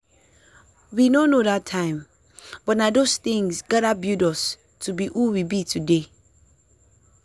we no know that time buh nah those tinz gather build us to be who we be today.